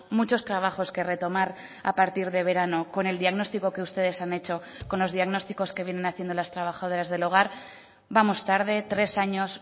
muchos trabajos que retomar a partir de verano con el diagnóstico que ustedes han hecho con los diagnósticos que vienen haciendo las trabajadoras del hogar vamos tarde tres años